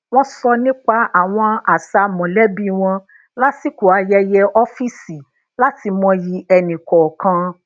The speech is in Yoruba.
wọn sọ nipa àwọn àṣà molẹbí wọn lasiko ayẹyẹ ọfíìsì lati mọyì ẹni kọọkan